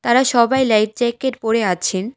ওরা সবাই life jacket পরে আছেন।